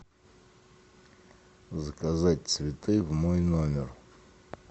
заказать цветы в мой номер